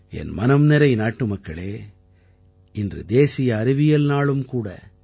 என் மனம்நிறை நாட்டுமக்களே இன்று தேசிய அறிவியல் நாளும் கூட